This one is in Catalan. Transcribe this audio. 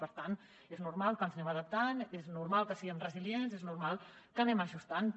per tant és normal que ens anem adaptant és normal que siguem resilients és normal que anem ajustant també